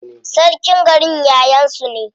Sarkin garin yayan su ne.